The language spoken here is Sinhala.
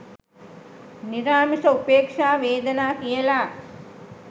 නිරාමිස උපේක්ෂා වේදනා කියල.